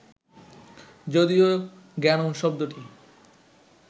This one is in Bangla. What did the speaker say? যদিও জ্ঞানম্ শব্দটি